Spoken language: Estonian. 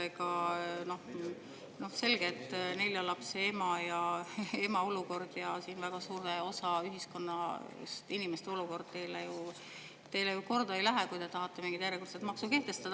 Selge see, et nelja lapse ema olukord ja väga suure osa ühiskonna, inimeste olukord teile korda ei lähe, kui te tahate mingit järjekordset maksu kehtestada.